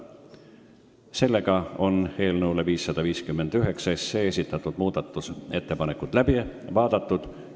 Sellega on eelnõu 559 muudatusettepanekud läbi vaadatud.